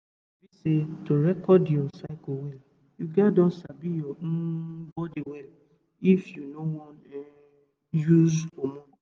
you sabi say to record your cycle well you gats don sabi your um body well if you no um wan use hormone